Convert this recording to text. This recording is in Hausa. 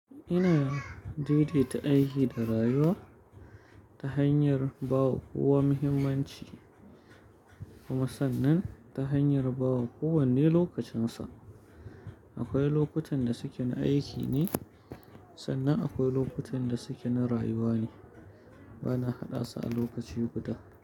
Ina daidaita aiki da rayuwa ta hanyar bawa kowa muhimmanci, kuma sannan ta hanyar ba wa kowanne lokacinsa. Akwai lokutan da suke na aiki ne, sannan akwai lokutan da suke na rayuwa ne. Bana haɗa su a lokaci guda.